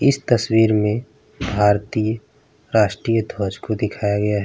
इस तस्वीर में भारतीय राष्ट्रीय ध्वज को दिखाया गया है।